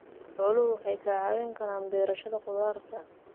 Xooluhu waxay ka caawin karaan beerashada khudaarta.